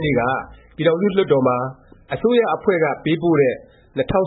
်နေ့က ပြည်ထောင်စု လွှတ်တော်မှာ အစိုးရအဖွဲ့က ပေးပို့တဲ့ ၂၀၁၈-၁